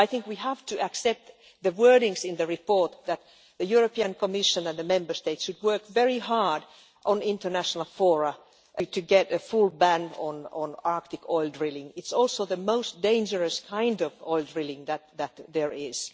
I think we have to accept the wordings in the report that the Commission and the Member States should work very hard on international fora to get a full ban on Arctic oil drilling. It is also the most dangerous kind of oil drilling that there is.